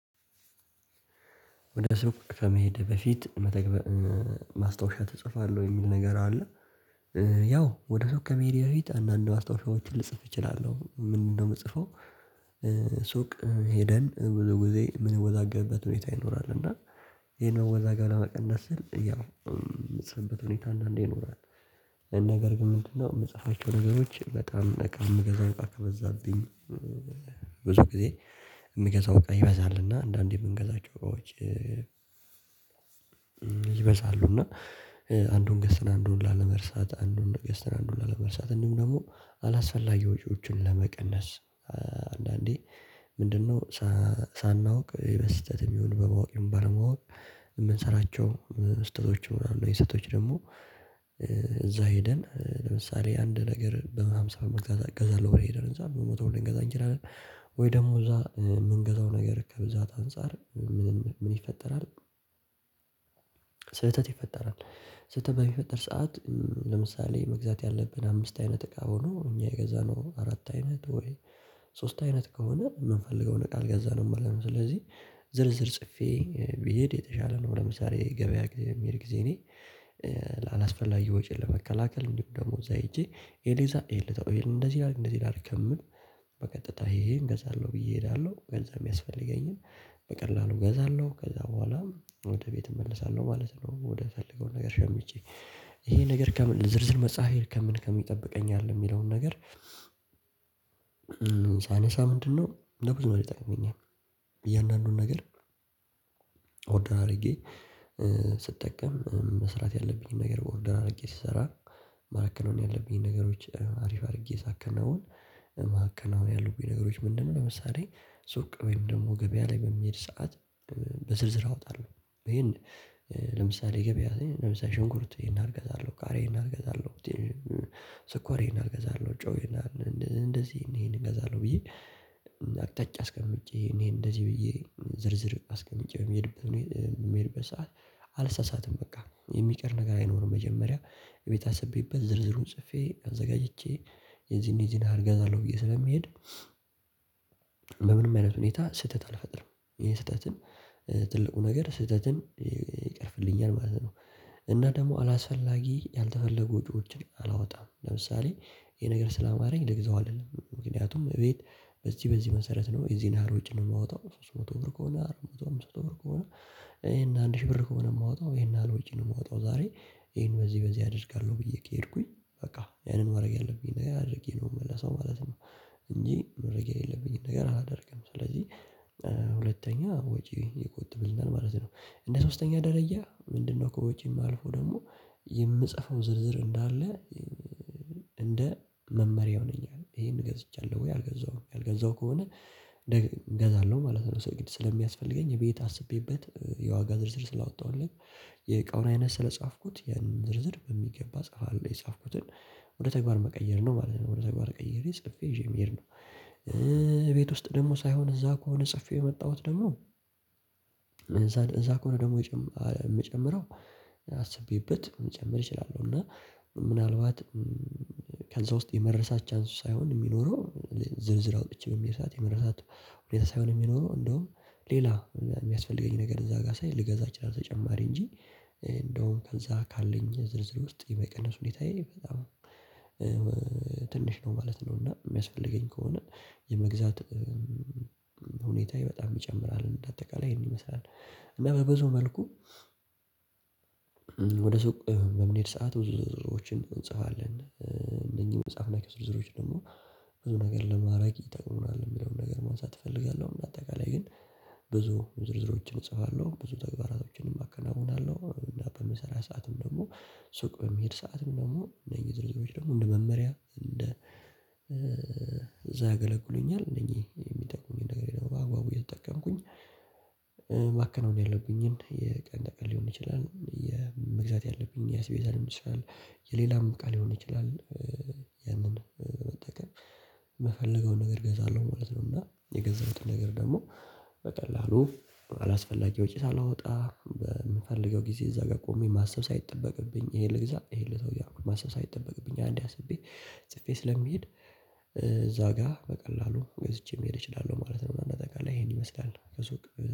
ወደ ሱቅ ከመሄድህ በፊት መተግበር ማስታወሻ ትጽፋለህ ወይ? የሚል ነገር አለ ያው ወደ ሱቅ ከመሄዴ በፊት አንዳንድ ማስታዎሻዎችን ልጽፍ እችላለሁ ምንድነው የምጽፈው ሱቅ ሄደን ብዙ ጊዜ ምን ወዛገብበት ሁኔታ ይኖራል እና ይሄን መወዛገብ ለመቀነስ ስል ያው የምጽፍበት ሁኔታ አንዳንዴ ይኖራል ነገር ግን ምንድነው የምትጻፋቸው ነገሮች በጣም በጣም የምገዛው እቃ ከበዛልኝ ብዙ ጊዜ የምገዛው እቃ ይበዛልና አንዳንዴ የምንገዛቸው ወጪ ይበዛሉ እና አንዱን ገዝተን አንዱን ላለመርሳት አንዱን ገዝተን አንዱን ላለመርሳት እንዲሁም ደግሞ አላስፈላጊ ወጪዎችን ለመቀነስ አንዳንዴ ምንድነው ሳናውቅ የበስተትም ይሁን በማወቅ ይሁን ባለማወቅ የምንሰራቸው ስህተቶች ይኖራሉ ስህተቶች ደግሞ እዛ ሄደን ለምሳሌ አንድ ነገር በሃምሳ ብር መግዛት እገዛለሁ ብሎ የሄደን ህንፃ በመቶ ብር ልንገዛ እንችላለን፤ ወይ ደግሞ እዛ የምንገዛው ነገር ከብዛት አንፃር ምን ይፈጠራል ስህተት ይፈጠራል ስህተት በሚፈጠር ሰዓት ለምሳሌ መግዛት ያለብን አምስት አይነት እቃ ሆኖ እኛ የገዛነው አራት አይነት ወይ ሶስት አይነት ከሆነ የምንፈልገውን እቃ አልገዛነው ማለት ነው፤ ስለዚህ ዝርዝር ጽፌ ብሄድ የተሻለ ነው ለምሳሌ ገበያ ጊዜ የምሄድ ጊዜ እኔ አላስፈላጊ ወጪ ለመከላከል እንዲሁ ደግሞ እዛ ሄጀ ይሄን ልግዛ ይሄን ልተው እንደዚህ ላድርግ እንደዚህ ላድርግ ከምል በቀጥታ ይሄ ይሄን እገዛለሁ ብዬ እሄዳለሁ ገንዘብ የሚያስፈልገኝን በቀላሉ እገዛለሁ ከዛ በኋላም ወደ ቤት እመለሳለሁ ማለት ነው ወደ ፈለገው ነገር ሸምቸ ይሄ ነገር ከምን ዝርዝር መጻፌ ከምን ከምን ይጠብቀኛል የሚለውን ነገር ሳነሳ ምንድነው ለብዙ ነገር ይጠቅመኛል፤ እያንዳንዱን ነገር ኦርደር አድርጌ ስጠቀም መስራት ያለብኝን ነገር በኦርደር አድርጌ ስሰራ ማከናወን ያለብኝን ነገሮች አሪፍ አድርጌ ሳከናውን ማህከናውን ያሉብኝ ነገሮች ምንድነው ለምሳሌ ሱቅ ወይም ደግሞ ገበያ ላይ በሚሄድ ሰዓት በዝርዝር አወጣለሁ ይሄን ለምሳሌ ገበያ ላይ ለምሳሌ ሽንኩርት ይህን ያህል እገዛለሁ ቃሪያ ይህን ያህል እገዛለሁ፤ ስኳር ይህን ያህል እገዛለሁ ጨው ይህን ያህል እገዛለሁ ብዬ አቅጣጫ አስቀምጬ እኔ እንደዚህ ብዬ ዝርዝር አስቀምጬ የምሄድበት ሰዓት አልሳሳትም በቃ የሚቀር ነገር አይኖርም መጀመሪያ ቤት አስቤበት ዝርዝሩን ጽፌ አዘጋጅቼ የዚህን የዚህን ያህል እገዛለሁ ብዬ ስለምሄድ በምንም አይነት ሁኔታ ስህተት አልፈጥርም ይሄን ስህተትን ትልቁ ነገር ስህተትን ይቀርፍልኛል ማለት ነው እና ደግሞ አላስፈላጊ ያልተፈለጉ ወጪዎችን አላወጣም ለምሳሌ ይሄ ነገር ስላማረኝ ልግዘው አልልም፣ ምክንያቱም እቤት በዚህ በዚህ መሰረት ነው የዚህን ያህል ውጪ የማወጣው ሶስት መቶ ብር ከሆነ አራት መቶ አምስት መቶ ብር ከሆነ ይሄን አንድ ሺህ ብር ከሆነ የማወጣው ይሄን ያህል ወጪ ነው የማወጣው ዛሬ ይሄን በዚህ በዚህ አደርጋለሁ ብዬ ከሄድኩኝ በቃ ያንን ማድረግ ያለብኝን ነገር አድርጌ ነው የምመለሰው ማለት ነው እንጂ ማድረግ የሌለብኝን ነገር አላደርግም ስለዚህ ሁለተኛ ወጪ ይቆጠብልናል ማለት ነው እንደ ሶስተኛ ደረጃ ምንድነው ከወጪ አልፎ ደግሞ የምጽፈው ዝርዝር እንዳለ እንደ መመሪያው ነኝ ይሄን ገዝቻለሁ ወይ አልገዛሁም ያልገዛሁ ከሆነ እገዛለሁ ማለት ነው ሰው ግድ ስለሚያስፈልገኝ ቤት አስቤበት የዋጋ ዝርዝር ስላወጣሁ አይደለም የእቃውን አይነት ስለጻፍኩት ያንን ዝርዝር በሚገባ ጽፋለሁ፤ የጻፍኩትን ወደ ተግባር መቀየር ነው ማለት ነው ወደ ተግባር ቀይሬ ጽፌ ይዤ መሄድ ነው፤ ቤት ውስጥ ደግሞ ሳይሆን እዛ ከሆነ ጽፌው የመጣሁት ደግሞ እዛ እዛ ከሆነ ደግሞ የምጨምረው አስቤበት መጨመር እችላለሁ እና ምናልባት ከዛ ውስጥ የመረሳት ቻንሱ ሳይሆን የሚኖረው ዝርዝር አውጥቼ የሚረሳት የሚረሳት ሁኔታ ሳይሆን የሚኖረው እንደውም ሌላ የሚያስፈልገኝ ነገር እዛ ጋር ሳይ ልገዛ እችላለሁ ተጨማሪ እንጂ እንደውም ከዛ ካለኝ ዝርዝር ውስጥ የመቀነስ ሁኔታዬ በጣም ትንሽ ነው ማለት ነው እና የሚያስፈልገኝ ከሆነ የመግዛት ሁኔታየ በጣም ይጨምራል እንደ አጠቃላይ ይህን ይመስላል እና በብዙ መልኩ ወደ ሱቅ በምንሄድ ሰዓት ብዙ ዝርዝሮችን እንጽፋለን እነኚህን የጻፍናቸውን ዝርዝሮች ደግሞ ዝርዝሮች ደግሞ ብዙ ነገር ለማድረግ ይጠቅሙናል የሚለውን ነገር ማንሳት እፈልጋለሁ በአጠቃላይ ግን ብዙ ዝርዝሮችን እጽፋለሁ ብዙ ተግባራቶችንም አከናውናለሁ እንደ አፕ በምሰራ ሰዓትም ደግሞ ሱቅ በሚሄድ ሰዓትም ደግሞ እንደ ዝርዝሮች ደግሞ እንደ መመሪያ እንደ ያገለግሉኛል እንደኚህ የሚጠቅሙኝ ነገር ያው በአግባቡ እየተጠቀምኩኝ ማከናወን ያለብኝን የቀን ተቀን ሊሆን ይችላል የመግዛት ያለብኝ ያስቤዛ ሊሆን ይችላል የሌላም ቃል ሊሆን ይችላል ያንን መጠቀም የምፈልገውን ነገር እገዛለሁ ማለት ነው እና የገዛሁትን ነገር ደግሞ በቀላሉ አላስፈላጊ ወጪ ሳላወጣ በምፈልገው ጊዜ እዛ ጋር ቆሜ ማሰብ ሳይጠበቅብኝ ይሄን ልግዛ ይሄን ልተው እያልሁ ማሰብ ሳይጠበቅብኝ አንዴ አስቤ ጽፌ ስለምሄድ እዛ ጋር በቀላሉ ገዝቼ መሄድ እችላለሁ ማለት ነው አንድ አጠቃላይ ይሄን ይመስላል ከሱቅ